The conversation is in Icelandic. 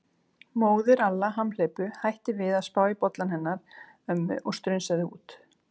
Móðir Alla hamhleypu hætti við að spá í bollann hennar ömmu og strunsaði út.